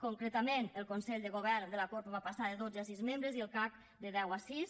concretament el consell de govern de la corpo va passar de dotze a sis membres i el cac de deu a sis